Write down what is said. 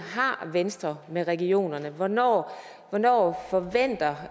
har venstre med regionerne hvornår hvornår forventer